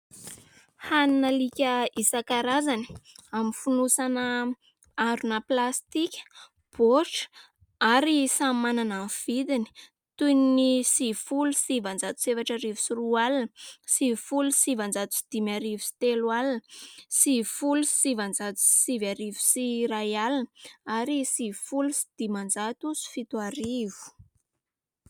Hanin'alika isan-karazany amin'ny fonosana harona plastika, baoritra ary samy manana ny vidiny toy ny : sivy folo sivinjato sy efatra arivo sy roa alina, sivy folo sy sivinjato sy dimy arivo sy telo alina, sivy folo sy sivinjato sy sivy arivo sy iray alina, ary sivy folo sy dimanjato sy fito arivo.